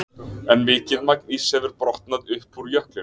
En mikið magn íss hefur brotnað upp úr jöklinum.